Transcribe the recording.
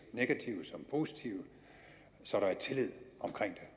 negative som positive så der er tillid omkring